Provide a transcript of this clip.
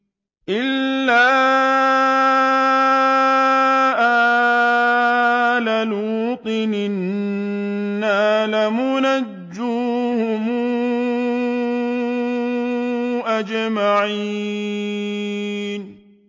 إِلَّا آلَ لُوطٍ إِنَّا لَمُنَجُّوهُمْ أَجْمَعِينَ